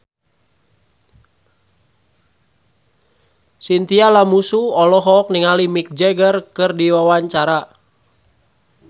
Chintya Lamusu olohok ningali Mick Jagger keur diwawancara